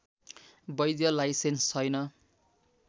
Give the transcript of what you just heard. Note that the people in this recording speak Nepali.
वैध लाइसेन्स छैन